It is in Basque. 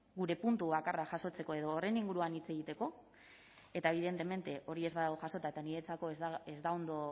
gure puntu bakarra jasotzeko edo horren inguruan hitz egiteko eta evidentemente hori ez badago jasota eta niretzako ez da ondo